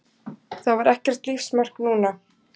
Það var ekkert lífsmark núna.